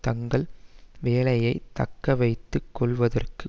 தங்கள் வேலையை தக்க வைத்து கொள்ளுவதற்கு